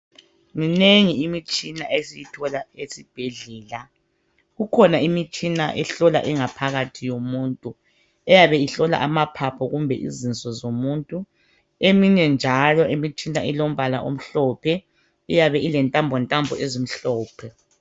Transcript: Minengi imitshina esiyithola ezibhedlela, kukhona imtshina ehlola ingaphakathi yomuntu eyabe ihlola amaphaphu kumbe izinso zomuntu. Eminye njalo imitshina ilombala omhlophe, iyabe ile ntambo ntambo ezimhlophe.